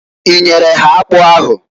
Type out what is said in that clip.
I nyere ha akpụ ahụ?